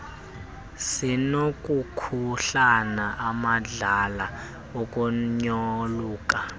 sinokukuhlaba amadlala ukunyoluka